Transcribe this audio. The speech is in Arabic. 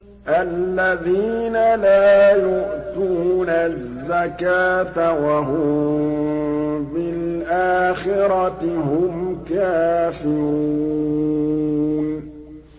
الَّذِينَ لَا يُؤْتُونَ الزَّكَاةَ وَهُم بِالْآخِرَةِ هُمْ كَافِرُونَ